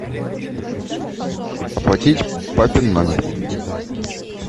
оплатить папин номер